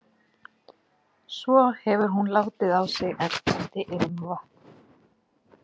Svo hefur hún látið á sig ertandi ilmvatn.